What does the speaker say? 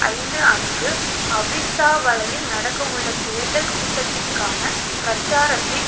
ஐந்து அன்று அவிஸ்ஸாவளையில் நடக்கவுள்ள தேர்தல் கூட்டத்துக்கான பிரச்சாரத்தின்